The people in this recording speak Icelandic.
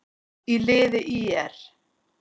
í liði ÍR.